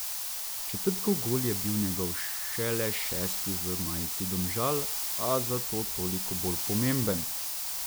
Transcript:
Četrtkov gol je bil njegov šele šesti v majici Domžal, a zato toliko bolj pomemben.